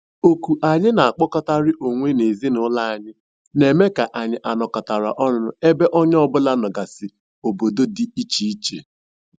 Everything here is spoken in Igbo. Oku anyị na-akpọkọrịta onwe n'ezinụlọ anyị na-eme ka anyị anọkatara ọnụ ebe onye ọbụla nọgasị obodo dị iche iche